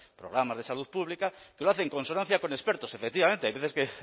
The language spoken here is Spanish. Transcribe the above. programas de salud pública que lo hace en consonancia con expertos efectivamente que hay veces que